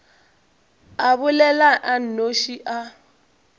a bolela a nnoši a